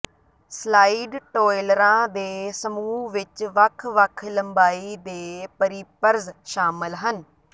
slide ਟੌਇਲਰਾਂ ਦੇ ਸਮੂਹ ਵਿੱਚ ਵੱਖ ਵੱਖ ਲੰਬਾਈ ਦੇ ਪਰੀਪਰਜ਼ ਸ਼ਾਮਲ ਹਨ